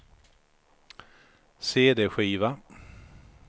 cd-skiva